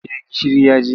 Eh gishiri ya ji.